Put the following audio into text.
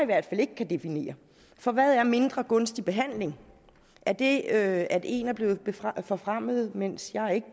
hvert fald ikke kan definere for hvad er mindre gunstig behandling er det at en er blevet forfremmet mens jeg